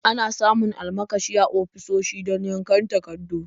Ana samun almakashi a ofisoshi don yankan takardu.